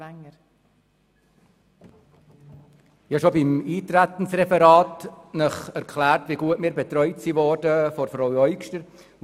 der SiK. Ich habe Ihnen bereits beim Eintretensreferat erklärt, wie gut wir von Frau Eugster betreut wurden.